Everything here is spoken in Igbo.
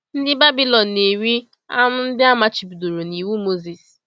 Ndị Babilọn na-eri anụ ndị a machibidoro n’Iwu Mozis.